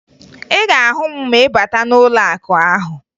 Ị ga-ahụ m ma ị bata n'ụlọakụ ahụ